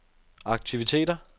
aktiviteter